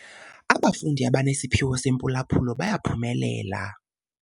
Abafundi abanesiphiwo sempulaphulo bayaphumelela.